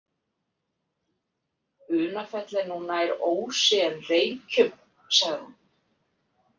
Unafell er nú nær Ósi en Reykjum, sagði hann.